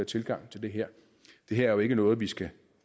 tilgang til det her det her er jo ikke noget vi skal